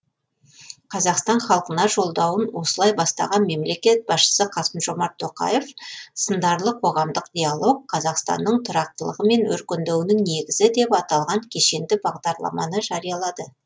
қазақстан халқына жолдауын осылай бастаған мемлекет басшысы қасым жомарт тоқаев сындарлы қоғамдық диалог қазақстанның тұрақтылығы мен өркендеуінің негізі деп аталған кешенді бағдарламаны жариялады